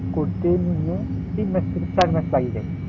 করতে নিম্নে তিন মাস থেকে চার মাস লেগে যায়